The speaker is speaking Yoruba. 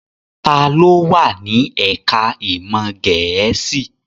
Ta ló wà ní ẹ̀ká ìmọ̀ Gẹ̀ẹ́sì?